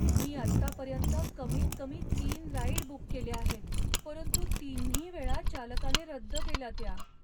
मी आतापर्यंत कमीतकमी तीन राईड बुक केल्या आहेत, परंतु तिन्ही वेळा चालकाने रद्द केल्या त्या.